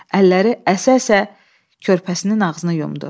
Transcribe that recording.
Əlləri əsə-əsə körpəsinin ağzını yumdu.